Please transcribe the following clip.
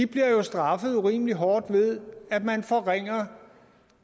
bliver jo straffet urimelig hårdt ved at man forringer